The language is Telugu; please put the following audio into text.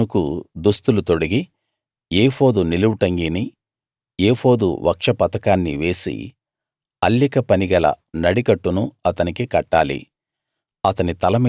అహరోనుకు దుస్తులు తొడిగి ఏఫోదు నిలువుటంగీని ఏఫోదు వక్షపతకాన్ని వేసి అల్లిక పని గల నడికట్టును అతనికి కట్టాలి